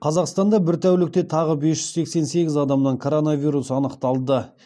қазақстанда бір тәулікте тағы бес жүз сексен сегіз адамнан коронавирус анықталды